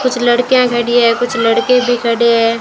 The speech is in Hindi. कुछ लड़कियां खड़ी है कुछ लड़के भी खड़े हैं।